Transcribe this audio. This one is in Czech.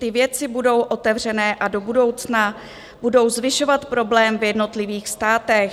Ty věci budou otevřené a do budoucna budou zvyšovat problém v jednotlivých státech.